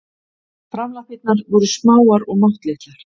Framlappirnar voru smáar og máttlitlar.